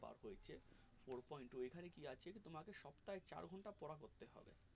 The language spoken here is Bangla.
ওর point to ওখানে কি আসছে তোমাকে সপ্তাহে চার ঘন্টা পড়া করতে হবে